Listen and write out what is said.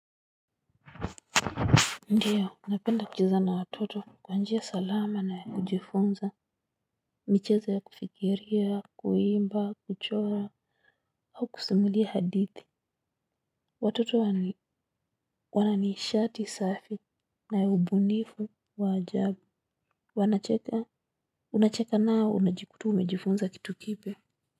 Ndiyo, napenda kucheza na watoto kwanjia salama nayakujifunza, michezo ya kufikiria, kuimba, kuchora, au kusimulia hadithi. Watoto wana nishati safi na ubunifu waajabu, wanacheka, unacheka nao unajikuta umejifunza kitu kipya.